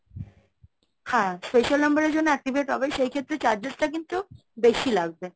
হ্যাঁ special number এর জন্য activate হবে, সেই ক্ষেত্রে charges টা কিন্তু বেশি লাগবে।